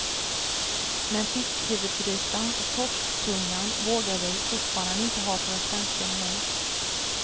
Men fiskhuvudgrytan och torsktungan vågar vi fortfarande inte ha på den svenska menyn.